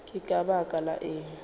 ke ka baka la eng